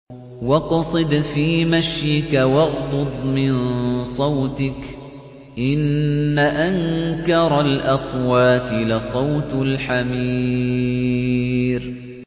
وَاقْصِدْ فِي مَشْيِكَ وَاغْضُضْ مِن صَوْتِكَ ۚ إِنَّ أَنكَرَ الْأَصْوَاتِ لَصَوْتُ الْحَمِيرِ